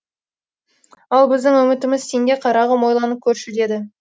ал біздің үмітіміз сенде қарағым ойланып көрші деді